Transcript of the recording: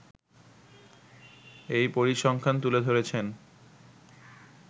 এই পরিসংখ্যান তুলে ধরেছেন